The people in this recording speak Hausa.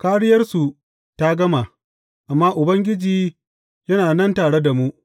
Kāriyarsu ta gama, amma Ubangiji yana nan tare da mu.